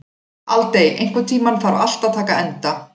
Aldey, einhvern tímann þarf allt að taka enda.